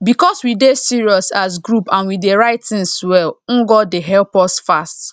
because we dey serious as group and we dey write things well ngo dey help us fast